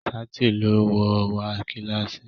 ṣáàtì ló wọ̀ wá kílàsì.